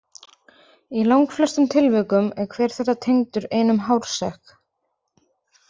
Í langflestum tilvikum er hver þeirra tengdur einum hársekk.